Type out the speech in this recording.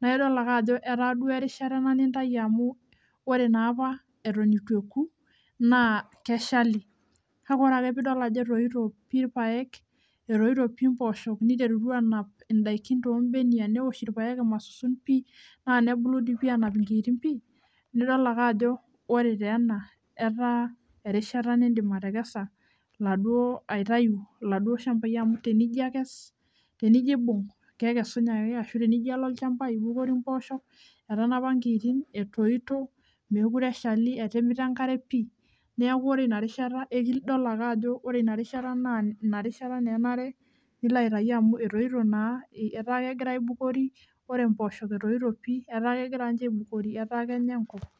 naidol ake ajo etaa duo ena erishata nintayu amu ore naap eton eitu eoku naa keshali, kake ore piidol ajo etoyito pi ilpayek etoyito pi imboosho niterutua aanap indaikin too mbenia, neosh ilpayek imasusun pi naa nebulu dii aanap enkiitin pii, nidol ake ajo ore taa ena etaa erishata niidim atekesa iladuo shambai amu tenijo akes tenijo aibung' kekusunye ake ashu tenijo alo olchamba ibukori imboosho etanapa inkiitin, etoyito, meekure eshali etimita enkare pii, neeku ore ina rishata idol ake ajo ore inarisha naa enare nilo aitayu amu etoyito naa etaa kegira aibukori ore imboosho etoyito pii etaa kegira ninje aibukori etaa kenya enkop.